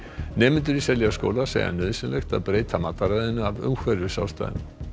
nemendur í Seljaskóla segja nauðsynlegt að breyta mataræðinu af umhverfisástæðum